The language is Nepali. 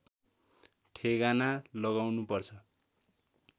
ठेगाना लगाउनु पर्छ